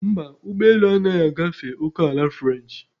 Mba, ụgbọ elu agaghị agafe ókèala french.